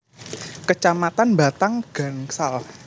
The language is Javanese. Kecamatan Batang Gansal